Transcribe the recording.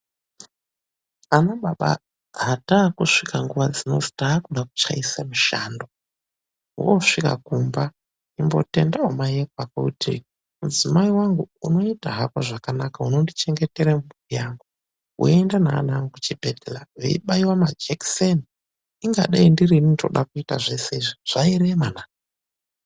Ana baba hatakusvika nguwa dzinodzi takude kuchaisa mushando isvika kumba imbotendawo mai ekwako kuti mudzimai wangu unoita hako zvakanaka unondichengetera mhuri yangu weienda naana angu kuchibhehlera veiobaiwa majekiseni ingadai ndirini ndinoda kuita zveshe izvi.